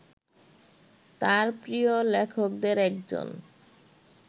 তাঁর প্রিয় লেখকদের একজন